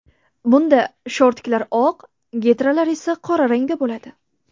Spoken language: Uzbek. Bunda shortiklar oq, getralar esa qora rangda bo‘ladi.